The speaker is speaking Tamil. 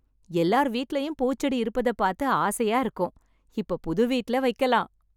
எல்லார் வீட்லயும் பூச்செடி இருப்பதை பார்த்து ஆசையா இருக்கும். இப்ப புதுவீட்ல வைக்கலாம்.